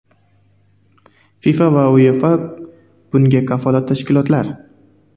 FIFA va UEFA bunga kafolat tashkilotlar”.